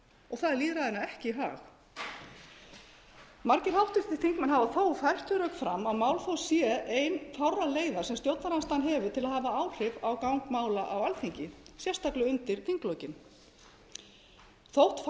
og það er lýðræðinu ekki í hag margir þingmenn hafa þó fært þau rök fram að málþóf sé ein fárra leiða sem stjórnarandstaðan hefur til að hafa áhrif á gang mála á alþingi sérstaklega undir þinglok þótt